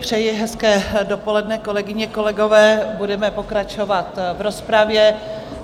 Přeji hezké dopoledne, kolegyně, kolegové, budeme pokračovat v rozpravě.